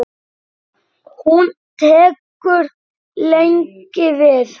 Hún tekur lengi við.